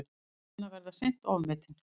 Áhrif hennar verða seint ofmetin.